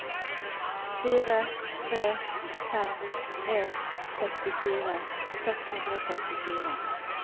fire tre fem en sekstifire seks hundre og førtifire